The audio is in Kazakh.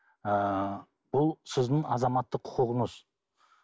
ы бұл сіздің азаматтық құқығыңыз